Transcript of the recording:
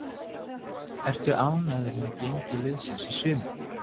Ertu ánægður með gengi liðsins í sumar?